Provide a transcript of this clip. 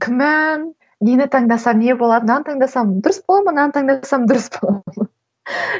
күмән нені таңдасам не болады мынаны таңдасам дұрыс бола ма мынаны таңдасам дұрыс бола ма